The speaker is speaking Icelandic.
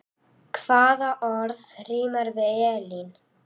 Hvaða orð rímar við Elín?